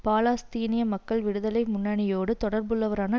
பாலஸ்தீனிய மக்கள் விடுதலை முன்னணியோடு தொடர்புள்ளவரான